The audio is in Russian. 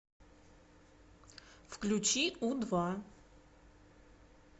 включи у два